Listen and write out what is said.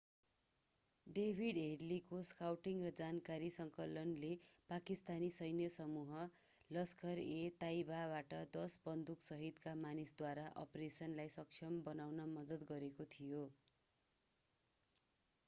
David हेडलीको scouting र जानकारी सङ्कलनले पाकिस्तानी सैन्य समूह लस्खर-ए-ताइबाबाट 10 बन्दुकसहितका मानिसद्वारा अपरेसनलाई सक्षम बनाउन मद्दत गरेको थियो